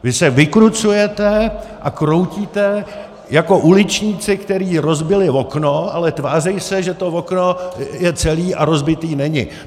Vy se vykrucujete a kroutíte jako uličníci, kteří rozbili okno, ale tváří se, že to okno je celý a rozbitý není.